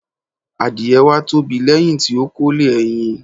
Àdie wá tóbi lẹ́hiń ti ó kólé ẹyin